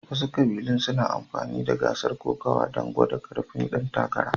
Wasu ƙabilun suna amfani da gasar kokawa don gwada ƙarfin ɗan takara